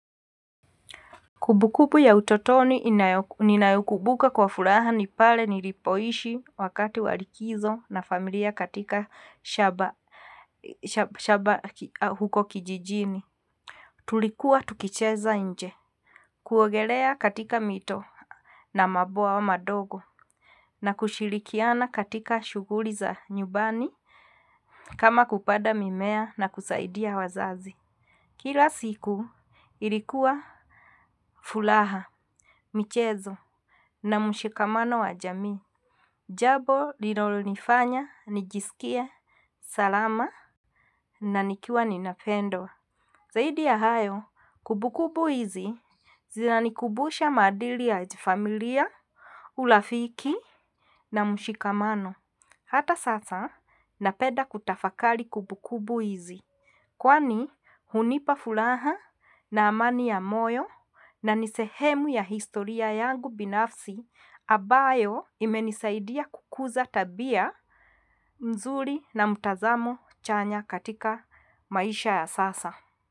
Kumbukumbku ya utotoni ninayokumbuka kwa furaha ni pale nilipoishi wakati wa likizo na familia katika shamba huko kijijini. Tulikuwa tukicheza nje. Kuogelea katika mito na mabwawa madogo na kushirikiana katika shughuli za nyumbani kama kupanda mimea na kusaidia wazazi. Kila siku ilikuwa furaha. Michezo na mushikamano wa jamii jambo lilo nifanya nijisikie salama na nikiwa ninapendwa. Zaidi ya hayo, kumbukumbu hizi zina nikumbusha maadili ya familia, urafiki na mushikamano. Hata sasa, napenda kutafakari kumbukumbu hizi kwani hunipa furaha na amani ya moyo na ni sehemu ya historia yangu binafsi ambayo imenisaidia kukuza tabia mzuri na mtazamo chanya katika maisha ya sasa.